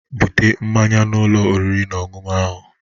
Bute mmaṅya n'Ụlọ oriri na ọṅụṅụ ahụ.?